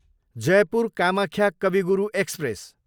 Jaipur Kamakhya Kavi Guru express